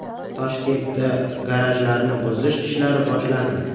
Toshkentda garajlarni buzish ishlari boshlandi.